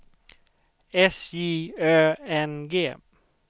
S J Ö N G